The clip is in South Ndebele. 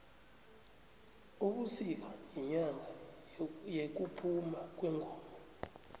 ubisika yinyanga yekuphuma kwengoma